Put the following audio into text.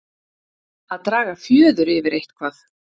Að draga fjöður yfir eitthvað